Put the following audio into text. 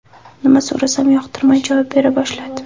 Nima so‘rasam, yoqtirmay javob bera boshladi.